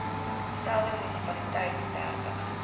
stelde munisipaliteite dertig